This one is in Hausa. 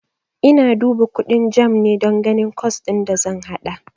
Ina duba kundin JAMB ne don ganin kwas din da zan haɗa.